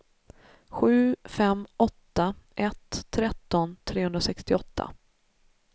sju fem åtta ett tretton trehundrasextioåtta